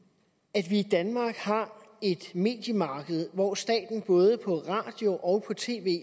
at vi i danmark har et mediemarked hvor staten både på radio og på tv